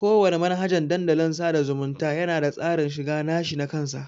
Kowana manhajan Dandalin sada zumunta yana da tsarin shiga nashi nakan sa.